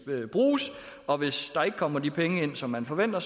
bruges og hvis der ikke kommer de penge ind som man forventer